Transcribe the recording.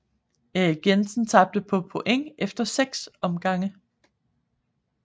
Erik Jensen tabte på point efter 6 omgange